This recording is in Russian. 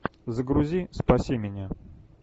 загрузи спаси меня